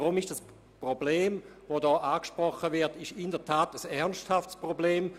Aus diesem Grund ist das hier angesprochene Problem in der Tat ein ernsthaftes Problem.